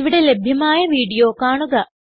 ഇവിടെ ലഭ്യമായ വീഡിയോ കാണുക